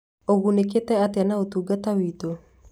Ũgunĩkĩte atĩa na ũtungata witũ?